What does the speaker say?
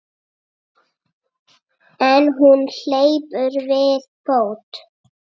En hún hleypur við fót.